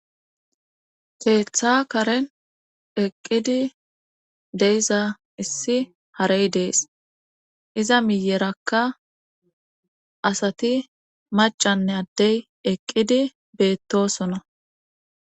Keeththa karen eqqidi deyiza issi harey dees iza miyerakka asati macanne addey eqqidi beettosona.